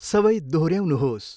सबै दोहोऱ्याउनुहोस्।